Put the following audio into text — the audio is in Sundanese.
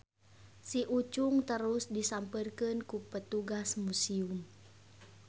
Si Ucung terus disampeurkeun ku petugas musium.